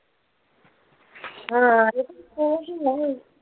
ആ